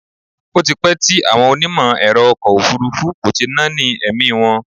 Ó ti pẹ́ tí àwọn onímọ̀ ẹ̀rọ ọkọ̀ òfúrúfú kò ti náání ẹ̀mí wọn.